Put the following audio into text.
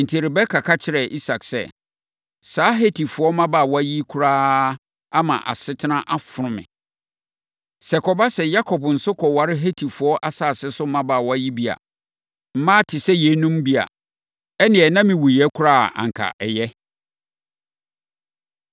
Enti, Rebeka ka kyerɛɛ Isak sɛ, “Saa Hetifoɔ mmabaawa yi koraa ama asetena afono me. Sɛ ɛkɔba sɛ Yakob nso kɔware Hetifoɔ asase so mmabaawa yi bi a, mmaa te sɛ yeinom bi a, ɛnneɛ, na mewuiɛ koraa a, anka ɛyɛ.”